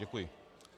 Děkuji.